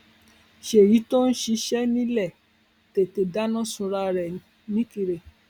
ṣéyí tó ń ṣiṣẹ nílẹ tètè dáná sunra rẹ nìkìrẹ